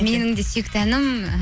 менің де сүйікті әнім і